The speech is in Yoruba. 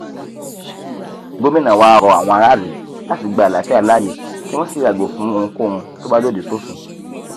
gomina wàá rọ àwọn aráàlú láti gba àlàáfíà láàyè kí wọn sì yàgò fún ohunkóhun tó bá lòdì sófin